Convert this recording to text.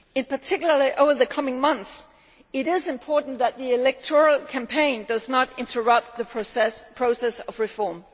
Particularly over the coming months it is important that the electoral campaign does not interrupt the process of reform.